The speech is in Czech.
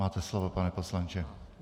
Máte slovo, pane poslanče.